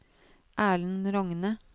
Erlend Rogne